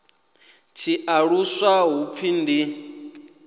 tshi aluswa hu pfi ndi